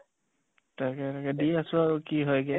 তাকে তাকে দি আছো আৰু কি হয়্গে